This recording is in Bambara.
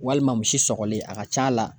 Walima misi sɔgɔlen a ka c'a la